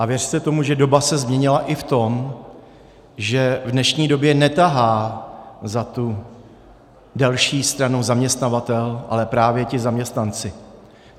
A věřte tomu, že doba se změnila i v tom, že v dnešní době netahá za tu delší stranu zaměstnavatel, ale právě ti zaměstnanci.